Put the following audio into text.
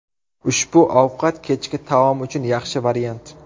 Ushbu ovqat kechki taom uchun yaxshi variant.